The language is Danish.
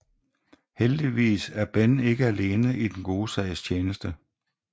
Heldigvis er Ben ikke alene i den gode sags tjeneste